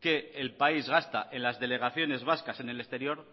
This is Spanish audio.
que el país gasta en las delegaciones vascas en el exterior